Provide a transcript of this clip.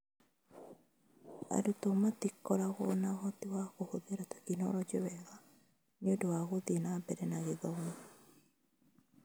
Arutwo matiakoragwo na ũhoti wa kũhũthĩra tekinoronjĩ wega nĩ ũndũ wa gũthiĩ na mbere na gĩthomo.